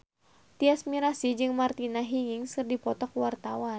Tyas Mirasih jeung Martina Hingis keur dipoto ku wartawan